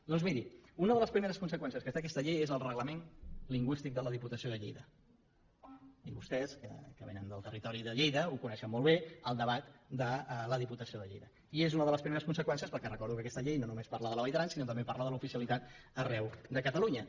doncs miri una de les primeres conseqüències que té aquesta llei és el reglament lingüístic de la diputació de lleida i vostès que vénen del territori de lleida coneixen molt bé el debat de la diputació de lleida i és una de les primeres conseqüències perquè recordo que aquesta llei no només parla de la vall d’aran sinó que també parla de l’oficialitat arreu de catalunya